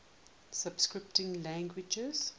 scripting languages